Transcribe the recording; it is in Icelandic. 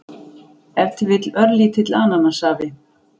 ef til vill örlítill ananassafi